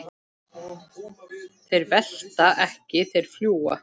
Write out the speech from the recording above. Þeir velta ekki, þeir fljúga.